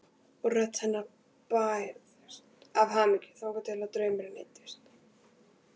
Og rödd hennar bærðist af hamingju þangað til draumurinn eyddist.